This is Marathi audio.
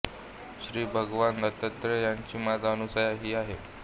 श्री भगवान दत्तात्रय यांची माता अनसूया ही आहे